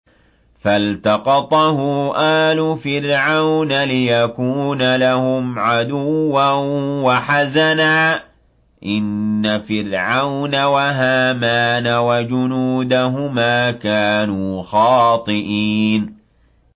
فَالْتَقَطَهُ آلُ فِرْعَوْنَ لِيَكُونَ لَهُمْ عَدُوًّا وَحَزَنًا ۗ إِنَّ فِرْعَوْنَ وَهَامَانَ وَجُنُودَهُمَا كَانُوا خَاطِئِينَ